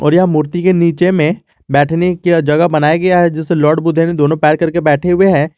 और यह मूर्ति के नीचे में बैठने की जगह बनाया गया है जिसे लॉर्ड बुद्ध ने दोनों पैर करके बैठे हुए हैं।